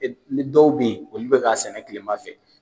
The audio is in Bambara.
Ni dɔw bɛ yen olu bi ka sɛnɛ kilema fɛ